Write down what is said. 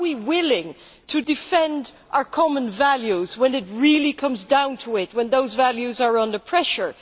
Are we willing to defend our common values when it really comes down to it, when those values are under pressure?